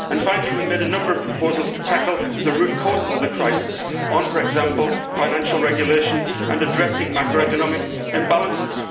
Finally, we made a number of proposals to tackle the root causes of the crisis on, for example, financial regulation and addressing macroeconomic imbalances.